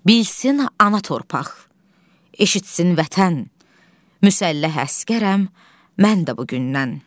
Bilsin ana torpaq, eşitsin vətən, müsəlləh əsgərəm, mən də bu gündən.